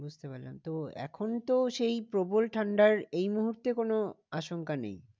বুঝতে পারলাম। তো এখন তো সেই প্রবল ঠান্ডার এই মুহূর্তে কোনো আসংখ্যা নেই